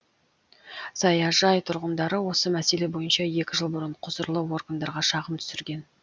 саяжай тұрғындары осы мәселе бойынша екі жыл бұрын құзырлы органдарға шағым түсірген